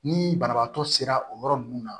Ni banabaatɔ sera o yɔrɔ nunnu na